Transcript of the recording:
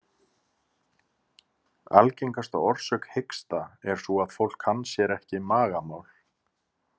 Algengasta orsök hiksta er sú að fólk kann sér ekki magamál.